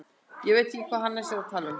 Ég veit ekki hvað Hannes er að tala um.